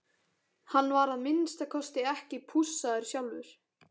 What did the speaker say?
Hann var að minnsta kosti ekki pússaður sjálfur.